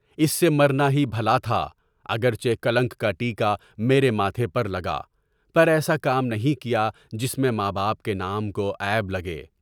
اس سے مرنا ہی بھلاتھا، اگرچہ کلنک کا ٹیکا میرے ماتھے پر لگا، پر ایسا کام نہیں کیا جس میں ماں باپ کے نام کو عیب لگے۔